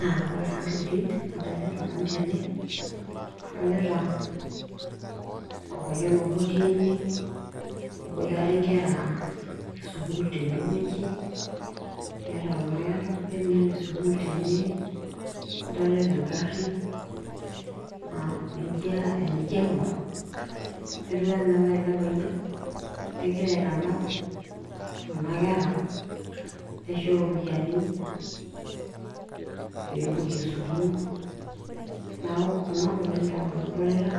aa ore taa ntokitin nadolita nanu tene, adolita orpayian obo otii ene. eboitare nkera esukuul tene wueji. neeta kuna kera irbenia le sukuul tene wueji, adolita egari .enijo aing'or neijo ore ele payian negira aitanap kuna kera aisho ropiyiani pee epuo sukuul, neeku kunatokitin taa nanu adolita